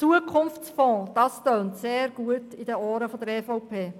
Zukunftsfonds, das tönt sehr gut in den Ohren der EVP.